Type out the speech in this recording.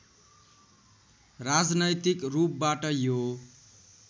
राजनैतिक रूपबाट यो